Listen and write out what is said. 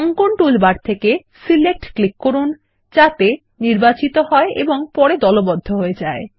অঙ্কন টুলবার থেকে select click করুন যাতে নির্বাচিত হয় এবং পরে দলবদ্ধ হয়ে যায়